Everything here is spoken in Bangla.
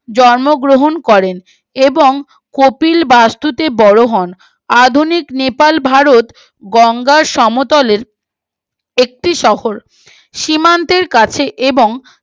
জন্মগ্রহণ করেন এবং কপিল বাস্তুতে বড়ো হয় আধুনিক নেপাল ভারত গঙ্গার সমতলে একটি শহর সীমান্তের কাছে এবং